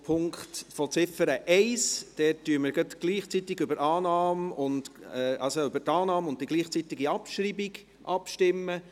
Bei Ziffer 1 werden wir gerade gleichzeitig über Annahme und die Abschreibung abstimmen.